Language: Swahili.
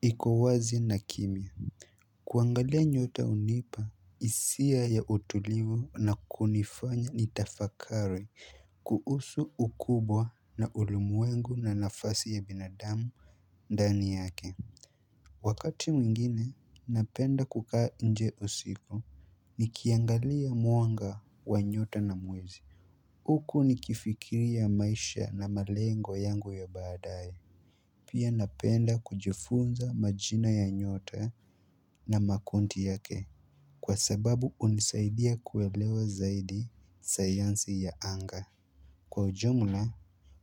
iko wazi na kimia kuangalia nyota hunipa hisia ya utulivu na kunifanya nitafakari kuhusu ukubwa na ulimwengu na nafasi ya binadamu ndani yake Wakati mwingine, napenda kukaa nje usiku nikiangalia mwanga wa nyota na mwezi. Huku nikifikiria maisha na malengo yangu ya badaye. Pia napenda kujifunza majina ya nyota na makunti yake. Kwa sababu hunisaidia kuelewa zaidi sayansi ya anga. Kwa ujumla